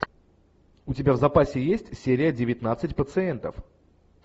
у тебя в запасе есть серия девятнадцать пациентов